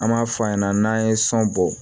An b'a f'a ɲɛna n'an ye sɔn bɔ